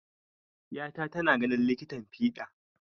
Ƴata tana ganin likitan fiɗa.